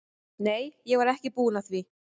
Nei, ég var ekki búin að því.